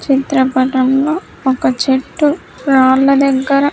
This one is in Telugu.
చిత్రపటంలో ఒక చెట్టు రాళ్ళ దగ్గర--